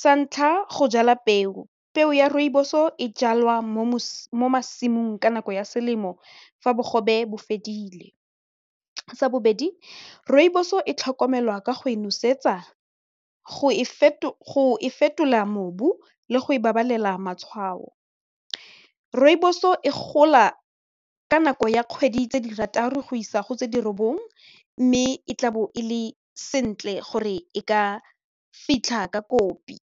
sa ntlha go jala peo, peo ya rooibos o e jalwa mo masimong ka nako ya selemo fa bogobe bo fedile, sa bobedi rooibos-o e tlhokomelwa ka go e nosetsa go e fetola mobu le go e babalela matshwao, rooibos-o e gola ka nako ya kgwedi tse di rata re go isa go tse di robot eng mme e tla bo ele sentle gore e ka fitlha ka kopi.